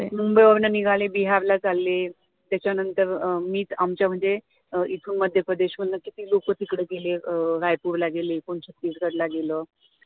मुंबई वरन निघाले बिहार ला चालले त्याच्यानंतर अं मी तर आमच्या म्हणजे अं इथून मध्यप्रदेश मधनं किती लोक तिकडे गेले अं रायपूर ला गेली कोणी छत्तीसगढ ला गेलं